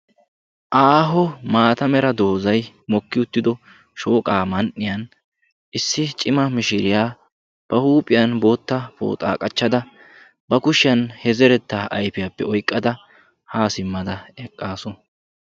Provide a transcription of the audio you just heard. Aaho maata mera doozzay mokki uttido shooqaa man"iyaan issi cima mishiriyaa ba huuphphiyaan bootta pooxaa qachchada ba kushshiyaan he zerettaa ayfiyaappe oyqqada haa simmada eqqaasu.